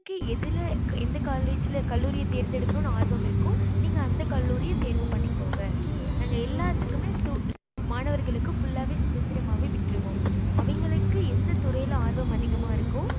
நாளைக்கு எதுல எந்த college எந்த கல்லூரிய தேர்ந்து எடுக்கணும் ஆர்வம் இருக்கோ நீங்க அந்த கல்லூரிய தேர்வு பண்ணிகொங்க நாங்க எல்லாத்துக்குமே மாணவர்களுக்கு full ஆவே சுதந்திரமா விட்டுருவோம் அவிங்களுக்கு எந்த துறையில அரவம் அதிகமா இருக்கோ